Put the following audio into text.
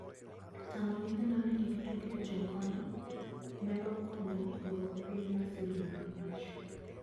Tamo nyithindo ni kik tugi e chukon nyalo konyo duoko piny masirni mag mach.